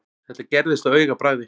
Þetta gerðist á augabragði.